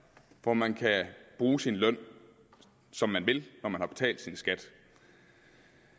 hvor man kan bruge sin løn som man vil når man har betalt sin skat